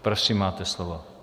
Prosím, máte slovo.